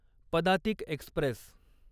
Padatik Express